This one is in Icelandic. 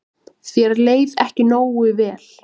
Þér leið ekki nógu vel.